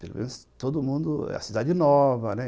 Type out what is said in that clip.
Pelo menos, todo mundo... É a cidade nova, né?